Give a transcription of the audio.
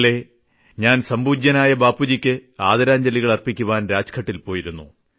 ഇന്നലെ ഞാൻ സംപൂജ്യനായ ബാപ്പുജിയ്ക്ക് ആദരാജ്ഞലികൾ അർപ്പിക്കുവാൻ രാജ്ഘട്ടിൽ പോയിരുന്നു